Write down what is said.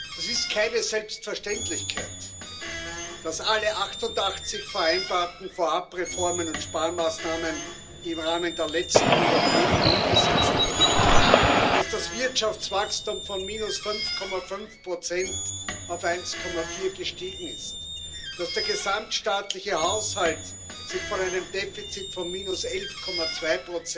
Das ist keine Selbstverständlichkeit. Dass alle 88 vereinbarten Vorab Reformen und Sparmaßnahmen im Rahmen der letzten Überprüfung umgesetzt wurden, dass das Wirtschaftswachstum von minus 5,5 auf 1,4 gestiegen ist, dass der gesamtstaatliche Haushalt sich von einem Defizit von minus 11,2